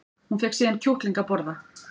Hún fékk síðan kjúkling að borða